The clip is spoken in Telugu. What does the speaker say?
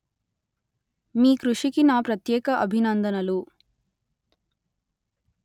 మీ కృషికి నా ప్రత్యేక అభినందనలు